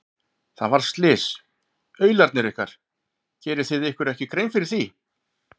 Það varð slys, aularnir ykkar, gerið þið ykkur ekki grein fyrir því?